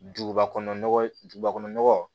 Duguba kɔnɔ nɔgɔ duguba kɔnɔ nɔgɔ